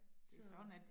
Så